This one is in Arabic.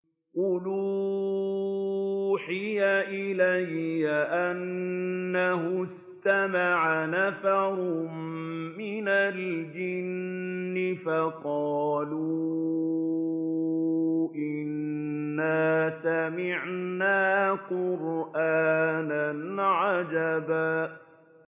قُلْ أُوحِيَ إِلَيَّ أَنَّهُ اسْتَمَعَ نَفَرٌ مِّنَ الْجِنِّ فَقَالُوا إِنَّا سَمِعْنَا قُرْآنًا عَجَبًا